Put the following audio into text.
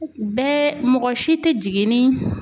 Bɛɛ mɔgɔ si tɛ jigin ni